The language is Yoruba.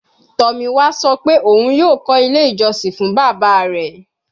Tomiwa sọ pe oun yoo kọ ile ijọsin fun baba rẹ